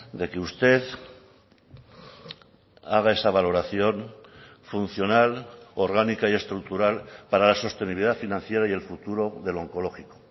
de que usted haga esa valoración funcional orgánica y estructural para la sostenibilidad financiera y el futuro del oncológico